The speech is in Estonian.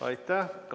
Aitäh!